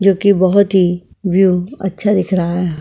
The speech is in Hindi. जोकि बहोत ही व्यू अच्छा दिख रहा है हा।